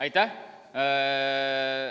Aitäh!